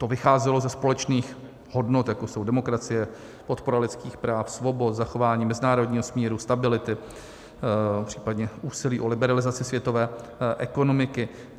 To vycházelo ze společných hodnot, jako jsou demokracie, podpora lidských práv, svobod, zachování mezinárodního smíru, stability, případně úsilí o liberalizaci světové ekonomiky.